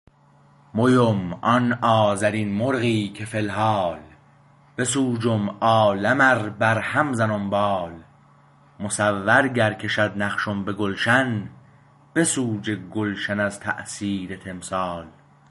مو ام آن آذرین مرغی که فی الحال بسوجم عالم ار بر هم زنم بال مصور گر کشد نقشم به گلشن بسوجه گلشن از تاثیر تمثال